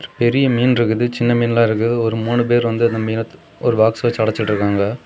பெரிய மீன் இருக்குது சின்ன மீனெல்லா இருக்குது ஒரு மூணு பேர் வந்து அந்த மீனெ ஒரு பாக்ஸ் வச்சு அடச்சிடிருக்காங்க.